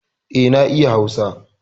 Eh, na iya hausa